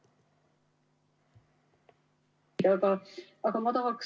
[Algust ei ole kuulda.